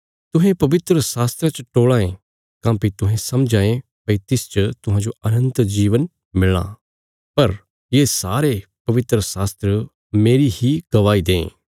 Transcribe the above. तुहें पवित्रशास्त्रा च टोल़ां ये काँह्भई तुहें समझां ये भई तिसच तुहांजो अनन्त जीवन मिलां पर ये सारे पवित्रशास्त्र मेरी इ गवाही दें